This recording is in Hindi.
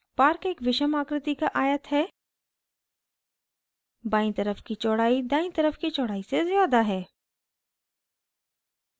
park एक विषम आकृति का आयत है बायीं तरफ की चौड़ाई दायीं तरफ की चौड़ाई से ज़्यादा है